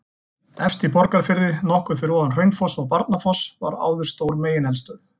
Efst í Borgarfirði, nokkuð fyrir ofan Hraunfossa og Barnafoss var áður stór megineldstöð.